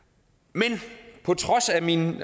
men på trods af min